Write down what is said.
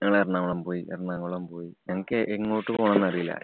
ഞങ്ങള് എറണാകുളം പോയി. എറണാകുളം പോയി ഞങ്ങക്ക് എങ്ങോട്ട് പോണംന്നറിയില്ല.